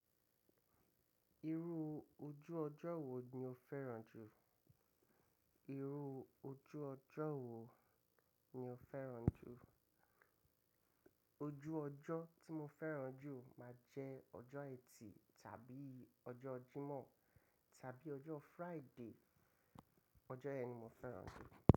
Irú ojú ọjọ́ wo ni o fẹ́ràn jù? Irú ojú ọjọ́ wo ni o fẹ́ràn jù? Ojú ọjọ́ tí mo fẹ́ràn jù máa jẹ́ ọjọ́ Ẹtì tàbí ọjọ́ Jímọ̀ tàbí ọjọ́ Friday. Ọjọ́ yẹn ni mo fẹ́ràn jù.